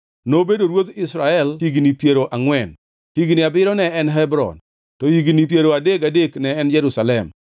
Nobedo ruodh Israel duto higni piero angʼwen, higni abiriyo ne en Hebron, to higni piero adek gadek ne en Jerusalem.